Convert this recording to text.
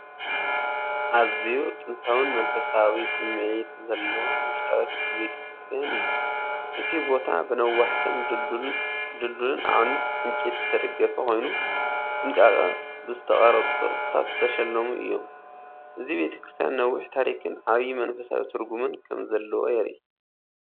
ኣዝዩ ጥንታዊን መንፈሳዊ ስምዒት ዘለዎን ውሽጣዊ ክፍሊ ቤተ ክርስቲያን እዩ። እቲ ቦታ ብነዋሕትን ድልዱልን ኣዕኑድ ዕንጨይቲ ዝተደገፈ ኮይኑ፡ ጥንቃቐ ብዝተቐርጹ ቅርጻታት ዝተሰለሙ እዮም። እዚ ቤተ ክርስቲያን ነዊሕ ታሪኽን ዓቢ መንፈሳዊ ትርጉሙን ከም ዘለዋ የርኢ!